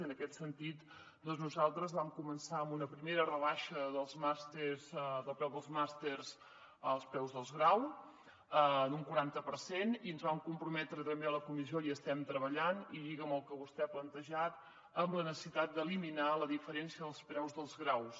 en aquest sentit nosal·tres vam començar amb una primera rebaixa dels preus dels màsters als preus dels graus en un quaranta per cent i ens vam comprometre també a la comissió i hi estem treballant i lliga amb el que vostè ha plantejat a la necessitat d’eliminar la diferència dels preus dels graus